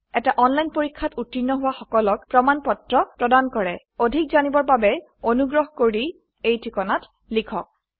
এটা অনলাইন পৰীক্ষাত উত্তীৰ্ণ হোৱা সকলক প্ৰমাণ পত্ৰ প্ৰদান কৰে অধিক জানিবৰ বাবে অনুগ্ৰহ কৰি contactspoken tutorialorg এই ঠিকনাত লিখক